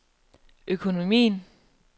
økonomien